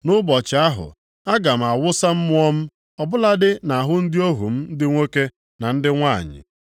Nʼụbọchị ahụ, aga m awụsa mmụọ m ọbụladị nʼahụ ndị ohu m ndị nwoke na ndị nwanyị.